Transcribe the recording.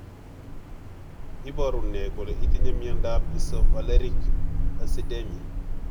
Iporu nr kole itinye miondap Isovaleric acidemia?